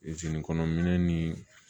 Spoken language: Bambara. zenikɔnɔmin ni